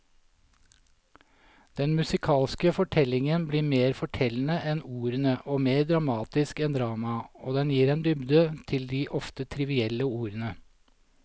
Den musikalske fortellingen blir mer fortellende enn ordene og mer dramatisk enn dramaet, og den gir en dybde til de ofte trivielle ordene.